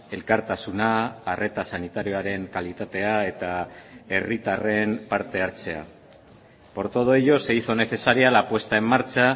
elkartasuna arreta sanitarioaren kalitatea eta herritarren parte hartzea por todo ello se hizo necesaria la puesta en marcha